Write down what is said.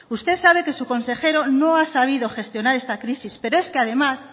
usted sabe que su consejero no ha sabido gestionar esta crisis pero es que además